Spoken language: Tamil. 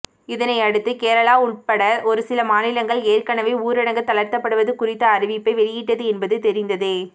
இதனையடுத்து கேரளா உள்பட ஒருசில மாநிலங்கள் ஏற்கனவே ஊரடங்கு தளர்த்தப்படுவது குறித்த அறிவிப்பை வெளியிட்டது என்பது தெரிந்ததே